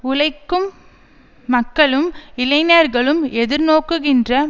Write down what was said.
உழைக்கும் மக்களும் இளைஞர்களும் எதிர்நோக்குகின்ற